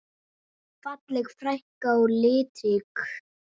Falleg frænka og litrík.